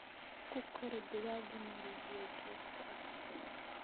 Ku kori digaaga meel biyo joogto ah leh.